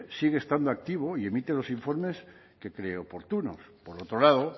sigue estando activo y emite los informes que cree oportunos por otro lado